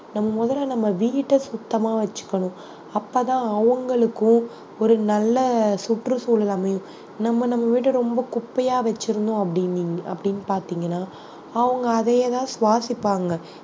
நம்ம முதல்ல நம்ம வீட்டை சுத்தமா வச்சுக்கணும் அப்பதான் அவங்களுக்கும் ஒரு நல்ல சுற்றுச்சூழல் அமையும் நம்ம நம்ம வீட்டை ரொம்ப குப்பையா வச்சிருந்தோம் அப்புடின்~ அப்படின்னு பார்த்தீங்கன்னா அவங்க அதையேதான் சுவாசிப்பாங்க